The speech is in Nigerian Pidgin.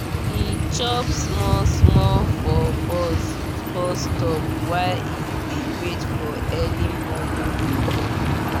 he chop small small for bus stop while he dey wait for early morning motor.